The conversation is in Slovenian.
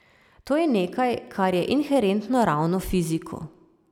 To je nekaj, kar je inherentno ravno fiziku.